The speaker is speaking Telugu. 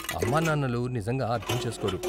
అమ్మ నాన్నలు నిజంగా అర్ధం చేస్కోరు.